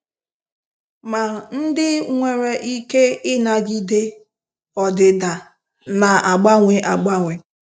Ma ndị nwere ike ịnagide ọdịda na-agbanwe agbanwe.